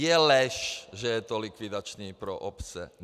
Je lež, že je to likvidační pro obce.